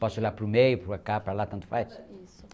Posso olhar para o meio, para cá, para lá, tanto faz? Isso